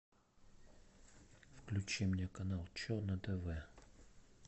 включи мне канал че на тв